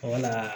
A mana